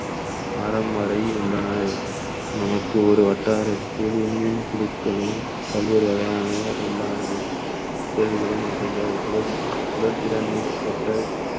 அறம் வரை உள்னன நமக்கு ஒரு வட்டாரத்தில் மின்மின் குழுக்களும் பல்வேறு வகையான உண்டான செயல்களையும் சூழல்~ சூழல்களில் ஏற்பட்ட